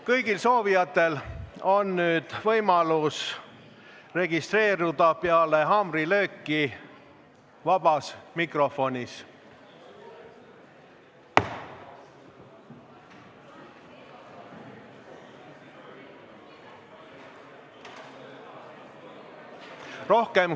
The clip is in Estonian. Kõigil soovijatel on peale haamrilööki võimalus registreeruda sõnavõtuks vabas mikrofonis.